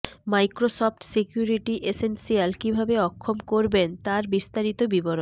Microsoft Security Essentials কিভাবে অক্ষম করবেন তার বিস্তারিত বিবরণ